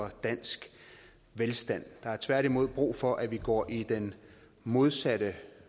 for dansk velstand der er tværtimod brug for at vi går i den modsatte